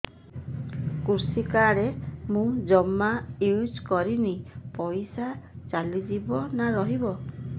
କୃଷି କାର୍ଡ ମୁଁ ଜମା ୟୁଜ଼ କରିନି ପଇସା ଚାଲିଯିବ ନା ରହିବ